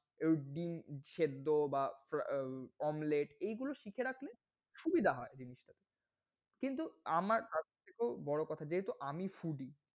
একটু ডিম সেদ্ধ বা omelet এই গুলো শিখে রাখলে সুবিধা হয়। কিন্তু আমার বড় কথা যেহেতু আমি foody